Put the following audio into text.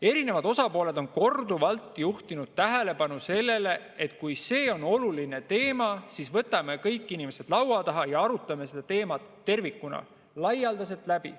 Erinevad osapooled on korduvalt juhtinud tähelepanu sellele, et kui see on oluline teema, siis võtame inimesed laua taha kokku ja arutame selle teema tervikuna ja läbi.